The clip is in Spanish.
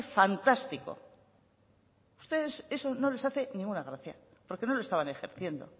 fantástico a ustedes eso no les hace ninguna gracia porque no lo estaban ejerciendo